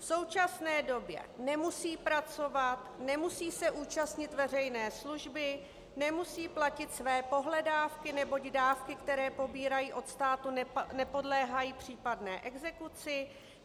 V současné době nemusí pracovat, nemusí se účastnit veřejné služby, nemusí platit své pohledávky, neboť dávky, které pobírají od státu, nepodléhají případné exekuci.